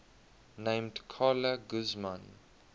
named carla guzman